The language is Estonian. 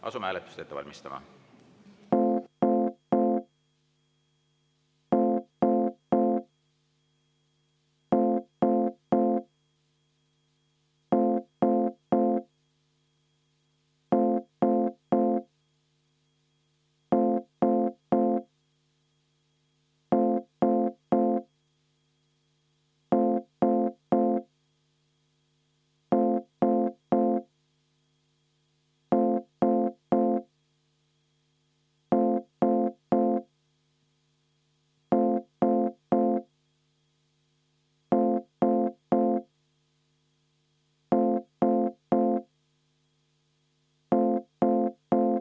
Asume hääletust ette valmistama.